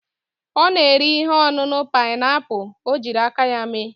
O na-ere ihe onunu pineapple o jiri aka ya mee.